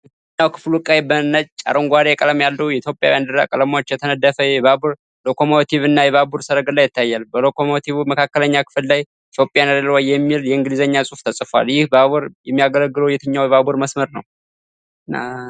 ዋናው ክፍሉ ቀይ፣ ነጭና አረንጓዴ ቀለም ያለው የኢትዮጵያ ባንዲራ ቀለሞች የተነደፈ የባቡር ሎኮሞቲቭ እና የባቡር ሰረገላ ይታያል። በሎኮሞቲቩ መካከለኛ ክፍል ላይ “Ethiopian Railways” የሚል የእንግሊዝኛ ጽሑፍ ተፅፏል። ይህ ባቡር የሚያገለግለው የትኛውን የባቡር መስመር ነው?